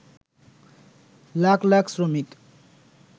লাখ লাখ শ্রমিক